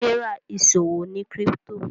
Serah ìṣòwò ní crypto.